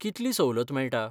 कितली सवलत मेळटा?